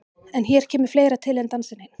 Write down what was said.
En hér kemur fleira til en dansinn einn.